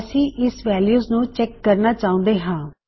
ਅਸੀ ਇਸ ਵੈਲਯੂ ਨੂੰ ਚੈਕ ਕਰਨਾ ਚਾਹੁੰਦੇ ਹਾਂ